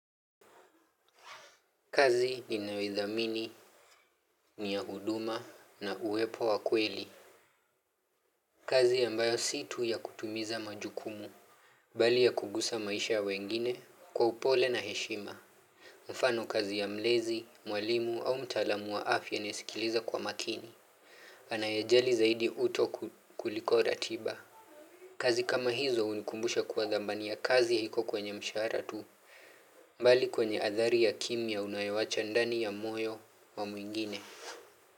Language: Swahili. Kazi ninayoithamini, ni ya huduma na uwepo wa kweli. Kazi ambayo si tu ya kutimiza majukumu. Mbali ya kugusa maisha ya wengine kwa upole na heshima. Mfano kazi ya mlezi, mwalimu au mtaalamu wa afya naisikiliza kwa makini. Anayejali zaidi uto kuliko ratiba. Kazi kama hizo unikumbusha kwa dhamani ya kazi haiko kwenye mshahara tu. Mbali kwenye athari ya kimya unayowacha ndani ya moyo wa mwingine. Kwa hivyo.